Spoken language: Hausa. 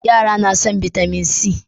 yara na son bitamin c